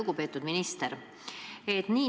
Lugupeetud minister!